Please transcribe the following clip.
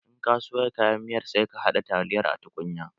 In ka soya kayan miyan sai ka haɗa taliyar a tukunya.